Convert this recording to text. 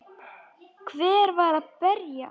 Hver var að berja?